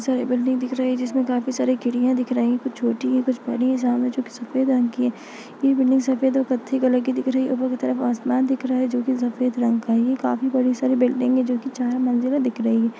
बहुत सारी बिल्डिंग दिख रही है जिसमे काफी सारी खिड़किया दिख रही है कुछ छोटी है कुछ बड़ी है सामने जो कि सफ़ेद रंग की है ये बिल्डिंग सफ़ेद और कत्थे कलर की दिख रही है ऊपर की तरफ आसमान दिख रहा है जो कि सफ़ेद रंग का है ये काफी बड़ी सारी बिल्डिंग है जो कि चार मजिला दिख रही है।